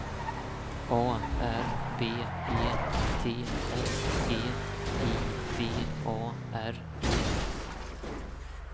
A R B E T S G I V A R E